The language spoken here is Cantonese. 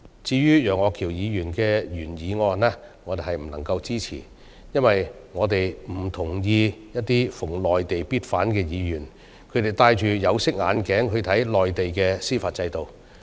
至於楊岳橋議員的原議案，我們不能夠支持，因為我們不同意一些逢內地必反的議員，他們戴着有色眼鏡看內地的司法制度。